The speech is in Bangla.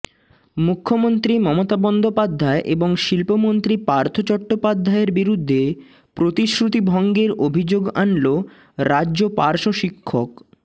মুখ্যমন্ত্রী মমতা বন্দ্যোপাধ্যায় এবং শিল্পমন্ত্রী পার্থ চট্টোপাধ্যায়ের বিরুদ্ধে প্রতিশ্রুতিভঙ্গের অভিযোগ আনল রাজ্য পার্শ্ব শিক্ষক